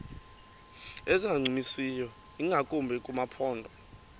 ezingancumisiyo ingakumbi kumaphondo